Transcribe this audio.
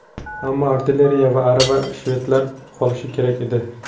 Ammo artilleriya va aravalar shvedlarda qolishi kerak edi.